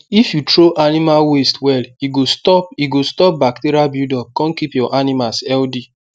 if you throw animal waste well e go stop e go stop bacteria buildup con keep your animals healthy